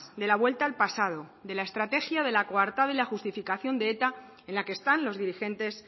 de la vuelta al pasado de la estrategia de la coartada y la justificación de eta en la que están los dirigentes